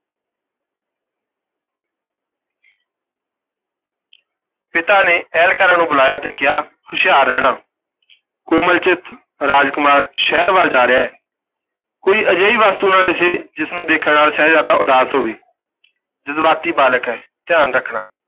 ਪਿਤਾ ਨੇ ਅਹਿਲਕਾਰਾਂ ਨੂੰ ਬੁਲਾਇਆ ਤੇ ਕਿਹਾ, ਹੁਸ਼ਿਆਰ ਰਹਿਣਾ ਕੋਮਲ ਚਿੱਤ ਰਾਜ ਕੁਮਾਰ ਸ਼ਹਿਰ ਵੱਲ ਜਾ ਰਿਹਾ ਹੈ, ਕੋਈ ਅਜਿਹੀ ਵਸਤੂ ਨਾ ਦਿੱਸੇ ਜਿਸ ਨੂੰ ਦੇਖਣ ਨਾਲ ਸ਼ਹਿਜ਼ਾਦਾ ਉਦਾਸ ਹੋਵੇ ਜਜ਼ਬਾਤੀ ਬਾਲਕ ਹੈ, ਧਿਆਨ ਰੱਖਣਾ।